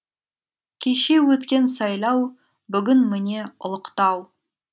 кеше өткен сайлау бүгін міне ұлықтау